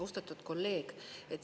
Austatud kolleeg!